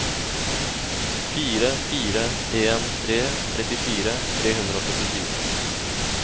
fire fire en tre trettifire tre hundre og syttifire